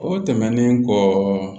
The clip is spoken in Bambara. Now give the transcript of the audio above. O tɛmɛnen kɔ